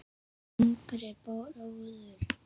áttu yngri bróður?